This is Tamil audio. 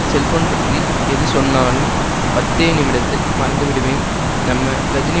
செல்போன் பற்றி எது சொன்னாலும் பத்தே நிமிடத்தில் மறந்திடுவேன் நம்ம கஜினி